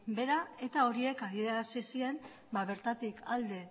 behera eta horiek adierazi zien bertatik alde